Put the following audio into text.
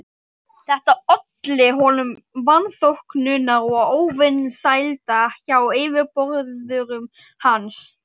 Þetta olli honum vanþóknunar og óvinsælda hjá yfirboðurum hans.